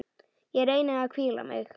Ég reyni að hvíla mig.